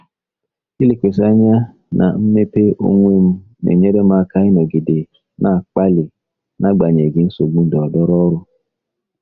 Ilekwasị anya na mmepe onwe m na-enyere m aka ịnọgide na-akpali n'agbanyeghị nsogbu ndọrọndọrọ n'ọrụ.